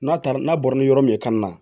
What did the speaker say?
N'a taara n'a bɔra ni yɔrɔ min ye ka na